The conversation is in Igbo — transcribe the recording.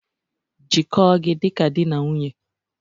Jikọọ gị dị ka di na nwunye